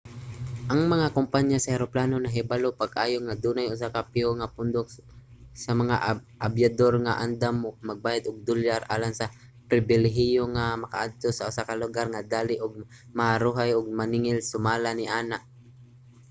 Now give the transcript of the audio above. ang mga kompaniya sa eroplano nahibalo pag-ayo nga dunay usa ka piho nga pundok sa mga abyador nga andam magbayad og dolyar alang sa pribilehiyo nga makaadto sa usa ka lugar nga dali ug maharuhay ug maningil sumala niana